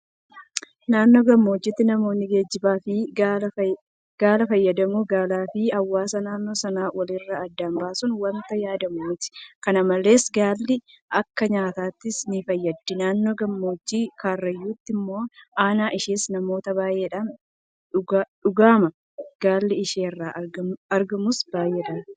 Naannoo gammoojjiitti namoonni geejibaaf gaala fayyadamu. Gaalaafi hawaasa naannoo sanaa walirraa adda baasuun waanta yaadamu miti. Kana malees Gaalli akka nyaataattis nifayyaddi. Naannoo gammoojjii Karrayyuutti immoo Aannan ishees namoota baay'eedhaan dhugama. Galiin ishee irraa argamus baay'eedha.